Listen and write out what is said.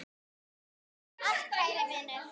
Takk fyrir allt kæri Vinur.